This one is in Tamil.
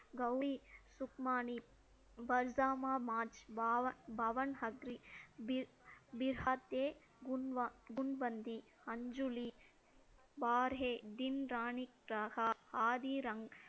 கௌரி சுக்மானி, பல்தாமா மார்ச், பாவன்~ பவன் ஹக்ரி பீ~ பீகாத்தே, குன்ப~ குன்பந்தி, அஞ்சூழி, வார்ஹே, தின்ராணிராகா, ஆதி ரங்க்~